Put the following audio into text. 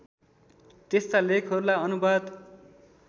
त्यस्ता लेखहरूलाई अनुवाद